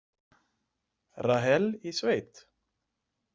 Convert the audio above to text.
Rahel í sveit?